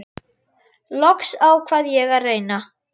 Loks ákvað ég að reyna.